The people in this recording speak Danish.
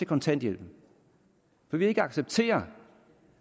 kontanthjælpen vi vil ikke acceptere